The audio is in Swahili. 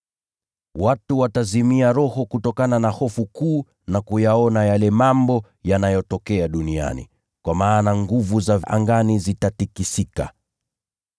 Watu watazimia roho kutokana na hofu kuu na kuyaona yale mambo yanayotokea duniani, kwa maana nguvu za angani zitatikisika.